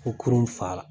Ko kurun fa la